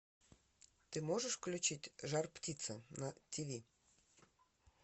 ты можешь включить жар птица на ти ви